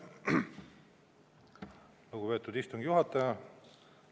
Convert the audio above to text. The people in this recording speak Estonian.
Lugupeetud istungi juhataja!